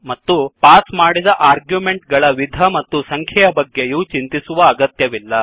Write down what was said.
ಮತ್ತು ಪಾಸ್ ಮಾಡಿದ ಆರ್ಗ್ಯುಮೆಂಟ್ ಗಳ ವಿಧ ಮತ್ತು ಸಂಖ್ಯೆಯ ಬಗ್ಗೆಯೂ ಚಿಂತಿಸುವ ಅಗತ್ಯವಿಲ್ಲ